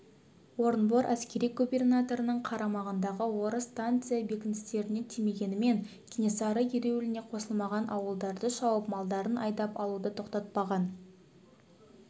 орынбор әскери губернаторының қарамағындағы орыс станица бекіністеріне тимегенмен кенесары ереуіліне қосылмаған ауылдарды шауып малдарын айдап алуды тоқтатпаған